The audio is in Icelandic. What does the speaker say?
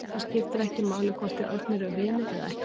Það skiptir ekki máli hvort þið Örn eruð vinir eða ekki.